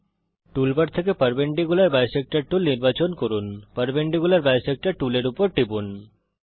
টুল bar থেকে perpendicular bisector tool নির্বাচন করুন পারপেন্ডিকুলার বিসেক্টর টুলের উপর টিপুন